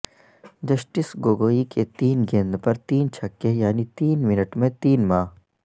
justice Gogoi کے تین گیند پر تین چھکے یعنی تین منٹ میں تین ماہ